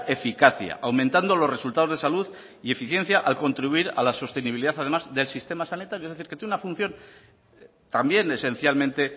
eficacia aumentando los resultados de salud y eficiencia al contribuir a la sostenibilidad además del sistema sanitario es decir que tienen una función también esencialmente